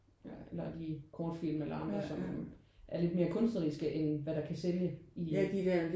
Ja eller de kortfilm eller andre som er lidt mere kunstneriske end hvad der kan sælge i